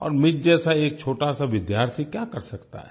और मुझ जैसा एक छोटासा विद्यार्थी क्या कर सकता है